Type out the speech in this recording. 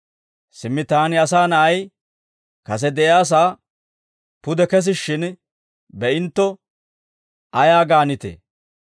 Simmi taani, Asaa Na'ay, kase de'iyaasaa pude kesishshin be'intto ayaa gaanitee?